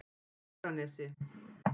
Fagranesi